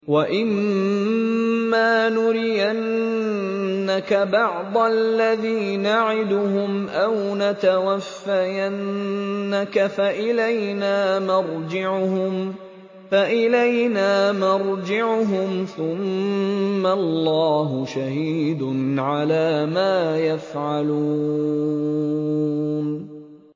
وَإِمَّا نُرِيَنَّكَ بَعْضَ الَّذِي نَعِدُهُمْ أَوْ نَتَوَفَّيَنَّكَ فَإِلَيْنَا مَرْجِعُهُمْ ثُمَّ اللَّهُ شَهِيدٌ عَلَىٰ مَا يَفْعَلُونَ